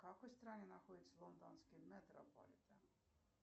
в какой стране находится лондонский метрополитен